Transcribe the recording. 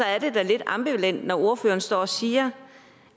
er det da lidt ambivalent når ordføreren står og siger